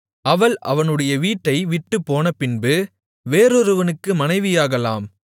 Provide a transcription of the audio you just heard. அவள் அவனுடைய வீட்டைவிட்டுப் போனபின்பு வேறொருவனுக்கு மனைவியாகலாம்